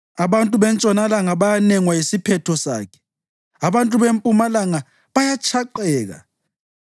Abantu bentshonalanga bayanengwa yisiphetho sakhe; abantu bempumalanga bayatshaqeka.